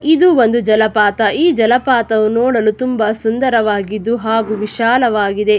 ಇದು ಒಂದು ಜಲಪಾತ ಈ ಜಲಪಾತವು ನೋಡಲು ತುಂಬಾ ಸುಂದರವಾಗಿದ್ದು ಹಾಗು ವಿಶಾಲವಾಗಿದೆ.